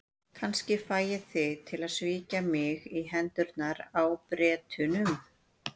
Kannski fæ ég þig til að svíkja mig í hendurnar á Bretunum.